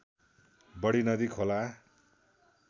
बढी नदी खोला